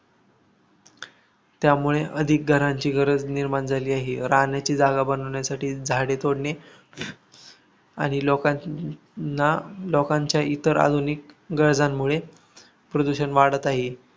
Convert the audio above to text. त्यामुळे अधिक घरांची गरज निर्माण झाली आहे. राहण्याची जागा बनवण्यासाठी झाडे तोडणे, आणि लोकांलोकांच्या इतर आधुनिक गरजांमुळे प्रदूषण वाढत आहे.